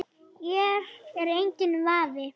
Hér er enginn vafi.